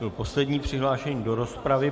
Byl poslední přihlášený do rozpravy.